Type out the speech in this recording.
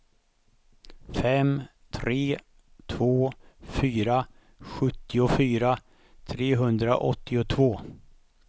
fem tre två fyra sjuttiofyra trehundraåttiotvå